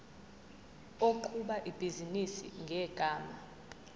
oqhuba ibhizinisi ngegama